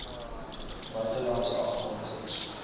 buite landse afvaardigings